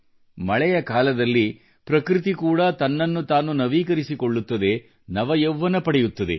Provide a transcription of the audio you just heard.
ಮಳೆಯ ಕಾಲದಲ್ಲಿ ಪ್ರಕೃತಿ ಕೂಡ ತನ್ನನ್ನು ತಾನು ನವೀಕರಿಸಿಕೊಳ್ಳುತ್ತದೆ